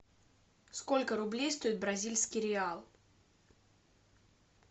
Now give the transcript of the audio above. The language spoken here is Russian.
сколько рублей стоит бразильский реал